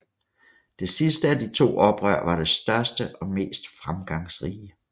Det sidste af de to oprør var det største og mest fremgangsrige